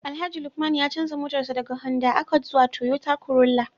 Alhaji Lukman ya canza motarsa ​​daga Honda Accord zuwa Toyota Corolla